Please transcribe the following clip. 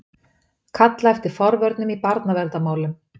Kalla eftir forvörnum í barnaverndarmálum